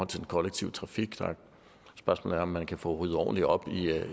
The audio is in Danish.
til den kollektive trafik og et spørgsmål er om man kan få ryddet ordentligt op